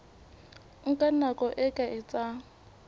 nka nako e ka etsang